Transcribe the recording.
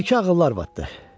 Məlikə ağıllı arvad idi.